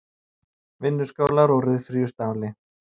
Vinnuskálar úr ryðfríu stáli.